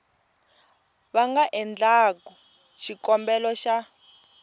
va nga endlaku xikombelo xa